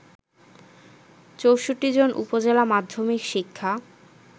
৬৪ জন উপজেলা মাধ্যমিক শিক্ষা